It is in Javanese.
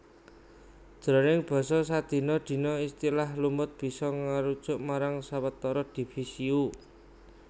Jroning basa sadina dina istilah lumut bisa ngarujuk marang sawetara divisio